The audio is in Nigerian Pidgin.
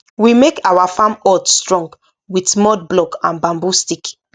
we make our farm hut strong with mud block and bamboo stick